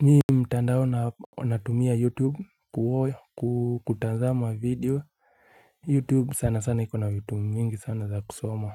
Nyi mtandao na onatumia youtube kuwoya kukutanzama video Youtube sana sana ikona vitu mingi sana za kusoma